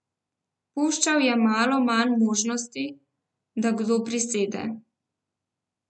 Puščal je malo manj možnosti, da kdo prisede.